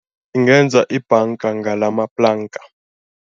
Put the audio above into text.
Singenza ibhanga ngalamaplanka.